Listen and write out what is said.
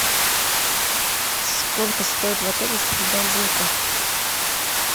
сколько стоит в отеле стрельба из лука